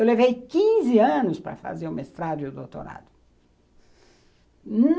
Eu levei quinze anos para fazer o mestrado e o doutorado.